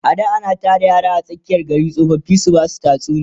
a da ana Tara yara a tsakiyan gari tsofaffi su Basu tatsuniya